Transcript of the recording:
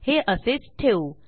हे असेच ठेवू